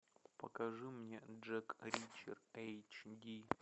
покажи мне джек ричер эйч ди